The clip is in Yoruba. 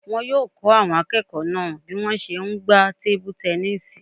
Wọn yóò kọ́ àwọn akẹ́kọ̀ọ́ náà bí wọ́n ṣe n gbá tebu-tẹnísì